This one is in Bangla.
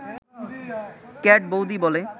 ক্যাট বৌদি বলে